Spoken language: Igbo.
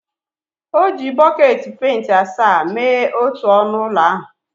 O ji bọket penti asaa mee otu ọnụ ụlọ ahụ